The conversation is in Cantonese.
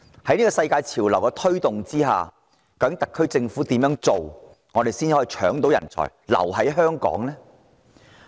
在這股世界潮流下，特區政府應當怎樣做，才能成功搶奪人才，令他們留在香港？